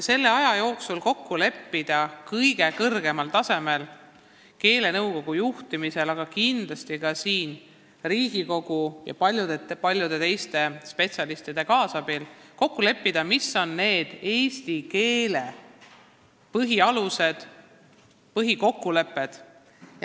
Selle aja jooksul on vaja kõige kõrgemal tasemel, keelenõukogu juhtimisel, aga kindlasti ka Riigikogu ja paljude erialaspetsialistide kaasabil paika panna eesti keelt puudutavad põhiseisukohad.